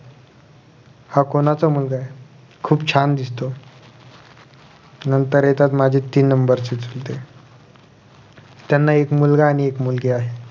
हा कोणाचा मुलगा आहे खुप छान दिसतो नंतर येतात माझे तीन number चे चुलते त्यांना एक मुलगा आणि मुलगी आहे